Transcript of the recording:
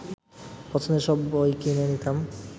পছন্দের সব বই কিনে নিতাম